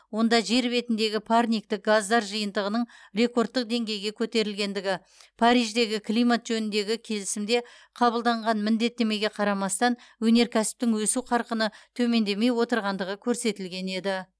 онда жер бетіндегі парниктік газдар жиынтығының рекордтық деңгейге көтерілгендігі париждегі климат жөніндегі келісімде қабылданған міндеттемеге қарамастан өнеркәсіптің өсу қарқыны төмендемей отырғандығы көрсетілген еді